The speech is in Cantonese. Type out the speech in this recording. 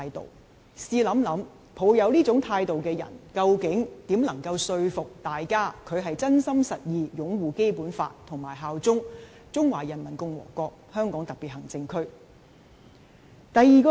大家試想想，抱持這種態度的人，如何能說服大家他是真心實意擁護《基本法》及效忠中華人民共和國香港特別行政區呢？